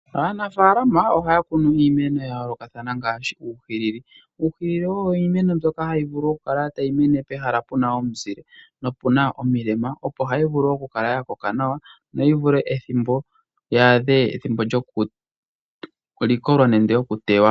Aanafaalama ohaya kunu iimeno ya yoolokathana ngaashi uuhilili. Uuhilili owo iimeno mbyoka hayi vulu oku kala tayi mene pehala pena omuzile nopena omilema opo hayi vulu okukala ya koka nawa noyivule ethimbo yi adhe ethimbo lyoku likolwa nenge okuteywa.